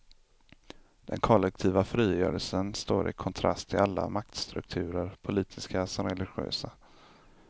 Den kollektiva frigörelsen står i kontrast till alla maktstrukturer, politiska som religiösa.